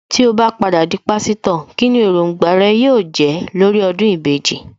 Tí ó bá padà di Pásítọ̀, kíni Èròǹgbà rẹ yóò jẹ́ lórí ọdún ìbejì